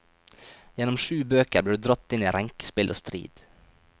Gjennom sju bøker blir du dratt inn i renkespill og strid.